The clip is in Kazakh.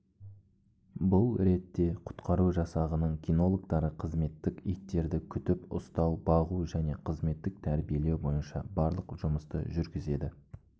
бұл ретте құтқару жасағының кинологтары қызметтік иттерді күтіп-ұстау бағу және қызметтік тәрбиелеу бойынша барлық жұмысты жүргізеді